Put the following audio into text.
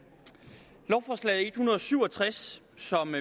hundrede og syv og tres som